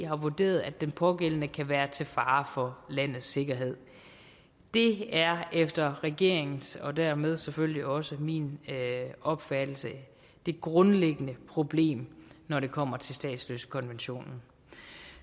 har vurderet at den pågældende kan være til fare for landets sikkerhed det er efter regeringens og dermed selvfølgelig også min opfattelse det grundlæggende problem når det kommer til statsløsekonventionen